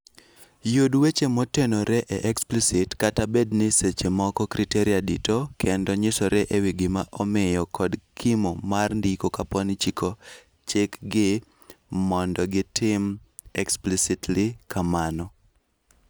Yud weche motenore e explicit kata bedni seche moko criteria dito kendo nyisore ewii giima omiyo kod kimo mar ndiko kapooni chik gi mondo gitim explicitly kamano